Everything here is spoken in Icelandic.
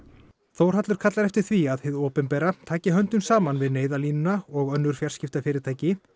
Þórhallur kallar eftir því að hið opinbera taki höndum saman við Neyðarlínuna og önnur fjarskiptafyrirtæki